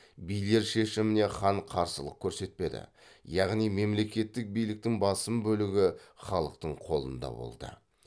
билер шешіміне хан қарсылық көрсетпеді яғни мемлекеттік биліктің басым бөлігі халықтың қолында болды